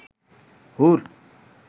হুর